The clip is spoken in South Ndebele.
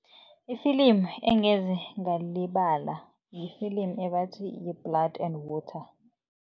I-film engeze ngalilibala li-film ebathi yi-Blood and Water.